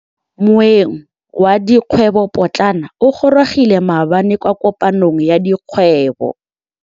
Moêng wa dikgwêbô pôtlana o gorogile maabane kwa kopanong ya dikgwêbô.